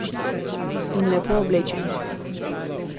In lepo oblečenih!